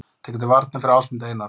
Tekur til varna fyrir Ásmund Einar